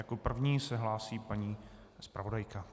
Jako první se hlásí paní zpravodajka.